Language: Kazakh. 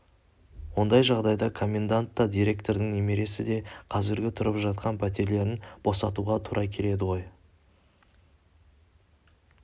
ондай жағдайда комендант та директордың немересі де қазіргі тұрып жатқан пәтерлерін босатуға тура келеді ғой